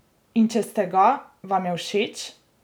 In če ste ga, vam je všeč?